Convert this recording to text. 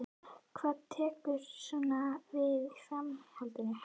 Hvað tekur svo við í framhaldinu?